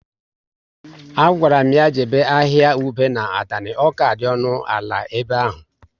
A gwara m ya jebe ahịa ube na Atani, ọ ka dị ọnụ ala ebe ahụ